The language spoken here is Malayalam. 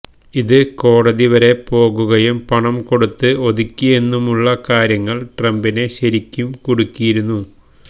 ഇത് കോടതി വരെ പോകുകയും പണം കൊടുത്ത് ഒതുക്കിയെന്നുമുള്ള കാര്യങ്ങള് ട്രംപിനെ ശരിക്കും കുടുക്കിയിരുന്നു